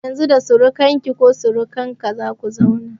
Daga Yanzu da surukan ka/ki za ke/ka zauna